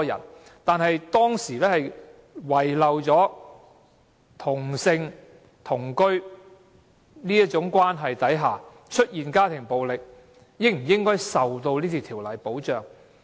惟當時的討論遺漏了在同性同居關係下出現的家庭暴力，應否受到《條例》的保障。